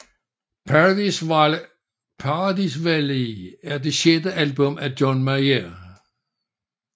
Paradise Valley er det sjette album af John Mayer